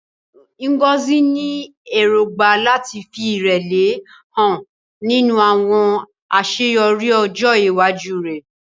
Ngozi ní èrògbà láti fi ìrẹ̀lẹ̀ hàn nínú àwọn àṣeyọrí ọjọ́ iwájú rẹ̀.